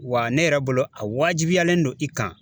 Wa ne yɛrɛ bolo a waajibiyalen don i kan.